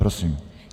Prosím.